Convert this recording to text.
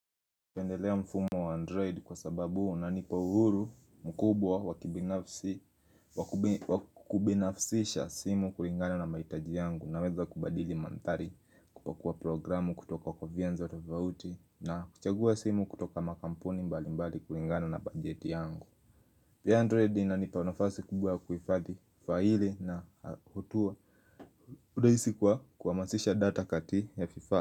Napendelea mfumo wa Android kwa sababu unanipa uhuru mkubwa wakibinafisisha simu kulingana na maitaji yangu na weza kubadili mandhari kupakua programu kutoka vienzo tofauti na kuchagua simu kutoka makampuni mbali mbali kulingana na bajeti yangu. Pia Android inanipa nafasi kubwa kuhifadi faili na hutua kudahisi kwa kuhamisha data kati ya vifaa.